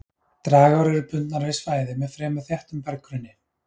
Dragár eru bundnar við svæði með fremur þéttum berggrunni.